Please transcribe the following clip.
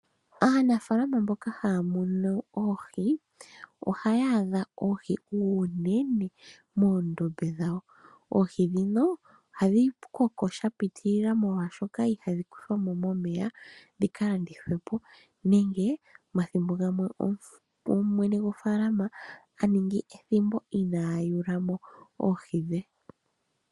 Aanafaalama mboka haa munu oohi, ohaya adha oohi unene moondombe dhawo. Oohi ndhino ohadhi koko shapitilila molwaashoka ihadhi kuthwamo omeya dhika landithwepo nenge omathimbo gamwe mwene gofaalama oha ningi ethimbo ina yuulamo oohi dhe.